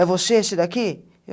É você esse daqui?